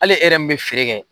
Ali e yɛrɛ min be feere kɛ